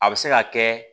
A bɛ se ka kɛ